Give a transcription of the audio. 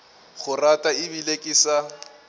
go rata ebile ke sa